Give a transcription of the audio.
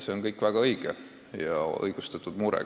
See on kõik väga õige, see on õigustatud mure.